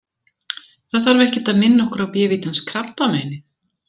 Það þarf ekkert að minna okkur á bévítans krabbameinið.